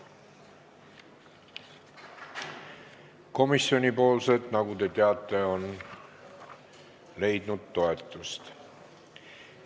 Komisjoni ettepanekud, nagu te teate, on leidnud toetust.